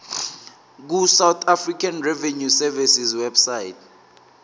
ku sars website